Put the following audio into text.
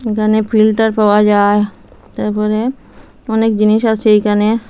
এখানে ফিল্টার পাওয়া যায় তারপরে অনেক জিনিস আছে এইখানে।